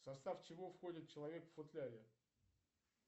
в состав чего входит человек в футляре